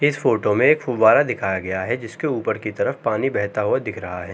इस फोटो में एक फौआरा दिखाए गया है जिसके ऊपर की तरफ पानी बेहता हुआ दिख रहा है।